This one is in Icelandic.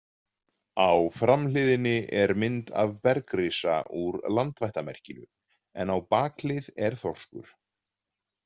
Á framhliðinni er mynd af bergrisa úr landvættamerkinu, en á bakhlið er þorskur.